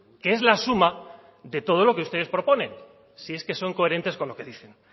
que es la suma de todo lo que ustedes proponen si es que son coherentes con lo que dicen